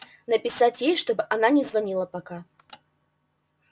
написать ей чтобы она не звонила пока